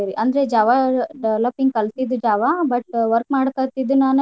ಅಂದ್ರ್ Java developing ಕಲ್ತಿದ್ದಿದ್ದ್ Java but work ಮಾಡಾಕತ್ತಿದ್ದ ನಾನ್